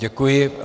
Děkuji.